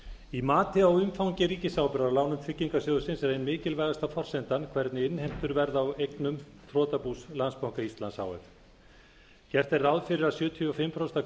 í mati á umfangi ríkisábyrgðar á lánum tryggingarsjóðsins er ein mikilvægasta forsendan hvernig innheimtur verða á eignum þrotabús landsbanka íslands h f gert er ráð fyrir að sjötíu og fimm prósent af